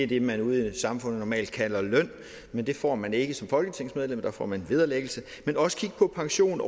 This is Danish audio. det man ude i samfundet normalt kalder løn men det får man ikke som folketingsmedlem der får man vederlag men også på pension